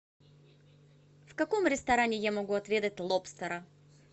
в каком ресторане я могу отведать лобстера